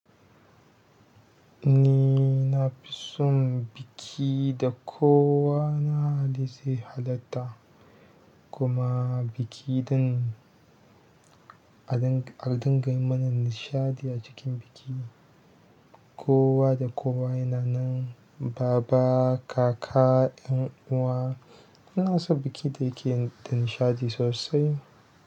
Ni nafi son biki da kowa da zai halatta kuma biki din a dinga mana nishaɗi a cikin bikin. Kowa da kowa yana nan, baba, kaka, ƴan uwa, ina son biki da yake da nishaɗi sosai.